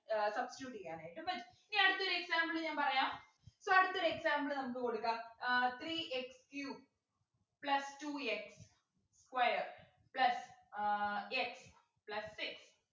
ഏർ substitute ചെയ്യാനായിട്ടു പറ്റും ഇനി അടുത്തൊരു example ഞാൻ പറയാം so അടുത്തൊരു example നമുക്ക് കൊടുക്കാം ah three x cube plus two x square plus uh x plus six